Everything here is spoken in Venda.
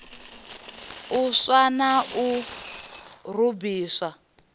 u swa na u rubisa